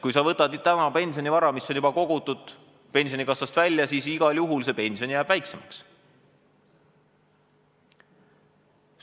Kui sa võtad täna pensionivara, mis on juba kogutud, pensionikassast välja, siis igal juhul pension jääb väiksemaks.